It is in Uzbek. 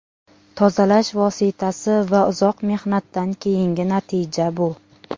Tozalash vositasi va uzoq mehnatdan keyingi natija bu”.